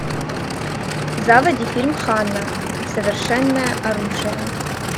заводи фильм ханна совершенное оружие